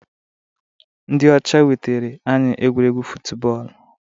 Ndị ọcha wetara anyị egwuregwu futubọọlụ.